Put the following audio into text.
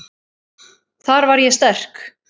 Þar var ég sterk.